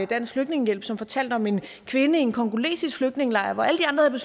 dansk flygtningehjælp som fortalte om en kvinde i en congolesisk flygtningelejr hvor alle de andre